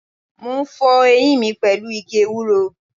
Mo ń fọ eyín mi pẹ̀lú igi ewúro.